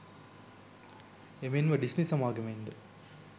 එමෙන්ම ඩිස්නි සමාගමෙන්ද